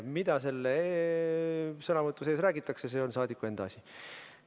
Mida selles sõnavõtus räägitakse, see on saadiku enda asi.